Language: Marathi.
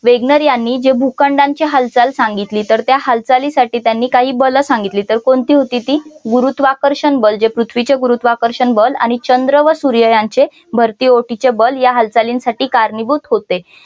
वेगनर यांनी जे भूखंडांची हालचाल सांगितली तर त्या हालचालीसाठी त्यांनी काही बल सांगितली तर कोणती होती ती गुरुत्वाकर्षण बल जे पृथ्वीचे गुरुत्वाकर्षण बल आणि चंद्र व सूर्य यांचे भरती ओहोटीचे बल या हालचालीसाठी कारणीभूत होते.